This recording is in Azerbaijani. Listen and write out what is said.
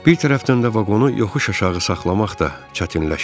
Bir tərəfdən də vaqonu yoxuş aşağı saxlamaq da çətinləşirdi.